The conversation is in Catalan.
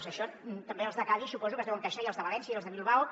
d’això també els de cadis suposo que se’n deuen queixar i els de valència i els de bilbao